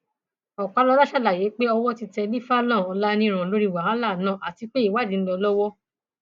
ọpàlọla ṣàlàyé pé owó ti tẹlifāhlon ọláǹíràn lórí wàhálà náà àti pé ìwádìí ń lọ lọwọ